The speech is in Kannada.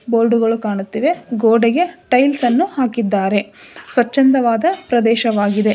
ಬೋರ್ಡುಗಳು ಕಾಣುತ್ತಿವೆ ಗೋಡೆಗೆ ಟೈಲ್ಸ್ ಅನ್ನು ಹಾಕಿದ್ದಾರೆ ಸ್ವಚಂದವಾದ ಪ್ರದೇಶವಾಗಿದೆ.